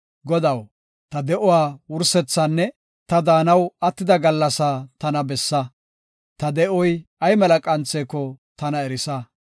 Godaw, ta de7uwa wursethaanne ta daanaw attida gallasaa tana bessa; ta de7oy ay mela qantheko tana erisa.